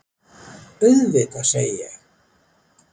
Auðvitað, segi ég.